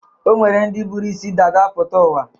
O nwere ndị buru isi dada pụta ụwa.